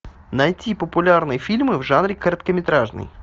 найти популярные фильмы в жанре короткометражный